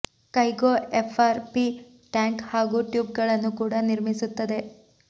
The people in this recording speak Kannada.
ಕೈಗೋ ಎಫ್ಆರ್ ಪಿ ಟ್ಯಾಂಕ್ ಹಾಗೂ ಟ್ಯೂಬ್ ಗಳನ್ನು ಕೂಡ ನಿರ್ಮಿಸುತ್ತದೆ